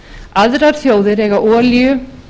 aðrar þjóðir eiga olíu